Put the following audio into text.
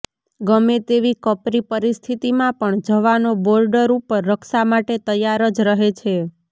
ગમે તેવી કપરી પરિસ્થિતિમાં પણ જવાનો બોર્ડર ઉપર રક્ષા માટે તૈયાર જ રહે છે